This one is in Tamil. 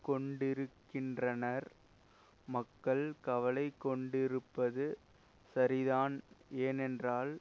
கொண்டிருக்கின்றனர் மக்கள் கவலை கொண்டிருப்பது சரிதான் ஏனென்றால்